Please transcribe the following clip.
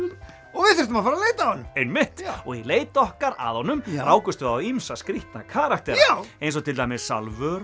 og við þurftum að leita að honum einmitt og í leit okkar að honum rákumst við á ýmsa skrítna karaktera eins og til dæmis Salvöru